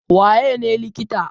Waye ne likita?